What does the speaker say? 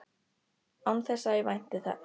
Án þess að ég vænti hans.